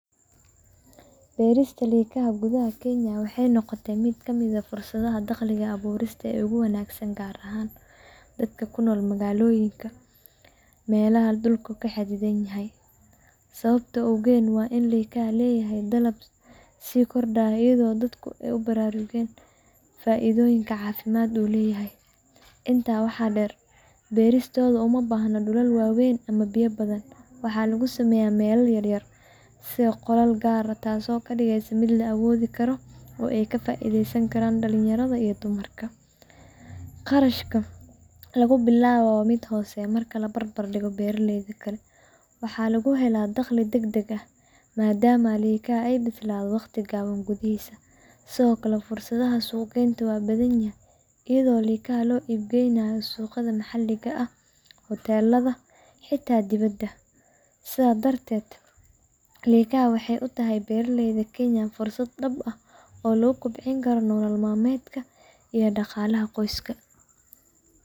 Beerqadashada likaha gudaha Kenya waxay noqotay mid ka mid ah fursadaha dakhliga abuurista ee ugu wanaagsan, gaar ahaan dadka ku nool magaalooyinka iyo meelaha dhulka xaddidan yahay. Sababta ugu weyn waa in likaha ay leeyihiin dalab sii kordhaya, iyadoo dadku ay aad ugu baraarugeen faa’iidooyinka caafimaad ee ay leeyihiin. Intaa waxaa dheer, beeristooda uma baahna dhul weyn ama biyo badan, waxaana lagu sameyn karaa meelaha yaryar sida qolal gaar ah, taasoo ka dhigaysa mid la awoodi karo oo ay ka faa’iideysan karaan dhalinyarada iyo dumarka. Kharashka lagu bilaabayo waa mid hooseeya marka la barbardhigo beeralayda kale, waxaana lagu helaa dakhli degdeg ah maadaama likaha ay bislaadaan waqti gaaban gudihiis. Sidoo kale, fursadaha suuq-geynta waa badan yihiin, iyadoo likaha loo iib geeyo suuqyada maxalliga ah, hoteellada, iyo xitaa dibadda. Sidaas darteed, beerqadashada likaha waxay u tahay beeraleyda Kenyan fursad dhab ah oo lagu kobcin karo nolol maalmeedka iyo dhaqaalaha qoyska.